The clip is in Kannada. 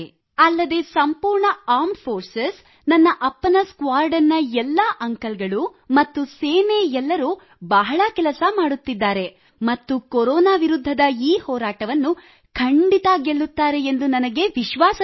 ಅಲ್ಲದೆ ಸಂಪೂರ್ಣ ಆರ್ಮ್ ಫೋರ್ಸ್ ನನ್ನ ಅಪ್ಪನ ಸ್ಕಾಡ್ರನ್ ನ ಎಲ್ಲ ಅಂಕಲ್ ಗಳು ಮತ್ತು ಸೇನೆ ಎಲ್ಲರೂ ಬಹಳ ಕೆಲಸ ಮಾಡುತ್ತಿದ್ದಾರೆ ಮತ್ತು ಕೊರೊನಾ ವಿರುದ್ಧದ ಈ ಹೋರಾಟವನ್ನು ಖಂಡಿತ ಗೆಲ್ಲುತ್ತಾರೆ ಎಂದು ನನಗೆ ವಿಶ್ವಾಸವಿದೆ